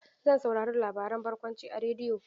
Zan saurari labaren barkwanci a rediyo.